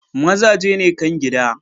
Mazaje ne kan gida.